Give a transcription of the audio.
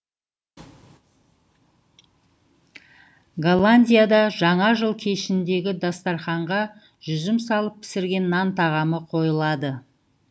голландияда жаңа жыл кешіндегі дастарқанға жүзім салып пісірген нан тағамы қойылады